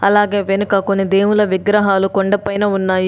అలాగే వెనక కొన్ని దేవుళ్ళ విగ్రహాలు కొండపైన ఉన్నాయి.